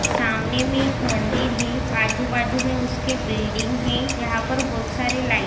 सामने मे एक मंदिर है। आजू बाजू मे उसके बिल्डिंग है। यहाँ पर बोहोत सारे लाइट --